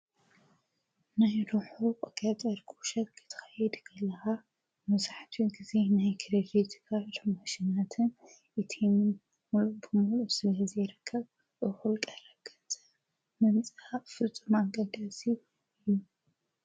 ናይ ሮሑ ቐቀ ጠርቁ ሸክትኸየ ድገለሃ መሳሕቱ ጊዜ ናይ ክልፊዝካ ርመሽናትን ይቲምን ምሉቡ ምሉ ስለ ሕዚ ረከብ እዂልቀ ረገጸ መሚጽሓ ፍልፁ ማገዳሢ እዩ።